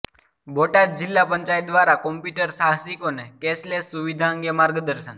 બોટાદ જિલ્લા પંચાયત દ્વારા કોમ્પ્યુટર સાહસિકોને કેશલેસ સુવિધા અંગે માર્ગદર્શન